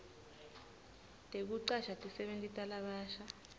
tekucasha tisebenti talabasha